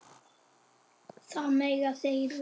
Það mega þeir vita.